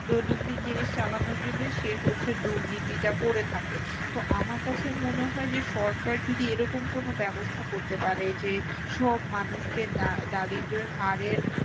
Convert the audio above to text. দৈনন্দিন জিনিস চালানোর জন্যই সে হচ্ছে দুর্নীতিটা করে থাকে। তো আমার কাছে মনে হয় যে সরকার যদি এরকম কোনো ব্যবস্থা করতে পারে যে সব মানুষকে দারিদ্র হারের